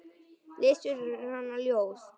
Lesi fyrir hana ljóð.